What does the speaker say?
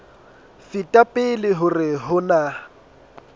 feta pele hore ho na